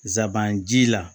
Zaban ji la